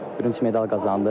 Bürünc medal qazandım.